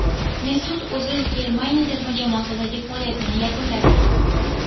Mesut O‘zil Germaniya terma jamoasidagi faoliyatini yakunladi.